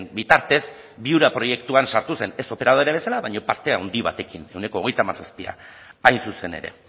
bitartez viura proiektuan sartu zen ez operadore bezala baina parte handi batekin ehuneko hogeita hamazazpi hain zuzen ere